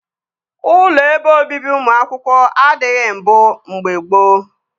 Ụlọ ebe obibi ụmụ akwụkwọ adịghị mbụ mgbe gboo